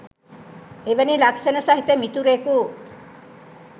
එවැනි ලක්‍ෂණ සහිත මිතුරෙකු